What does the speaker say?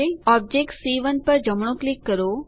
object c 1 પર જમણું click કરો